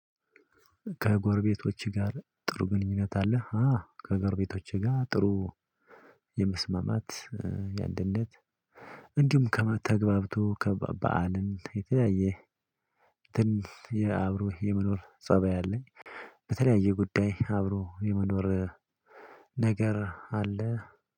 ከጎረቤቶችህ ጋር ጥሩ ግንኙነት አለህ? አው ከጎረቤቶቼ ጋር ጥሩ የመስማማት የአንድነት እንዲሁም ተግባብቶ በዓልን የተለያየ ትን የአብሮ የመኖር ፀባይ አለኝ። በተለያየ ጉዳይ አብሮ የመኖር ነገር አለ።